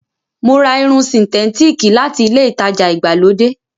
Mo ra Irun sìǹtétííkì láti ilé-ìtajà ìgbàlódé.